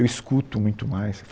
Eu escuto muito mais.